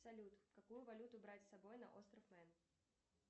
салют какую валюту брать с собой на остров мэн